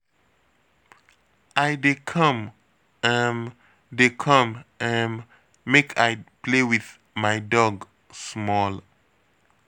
I dey come um dey come um .make I play with my dog small